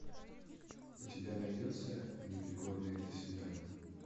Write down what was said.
у тебя найдется непригодные для свиданий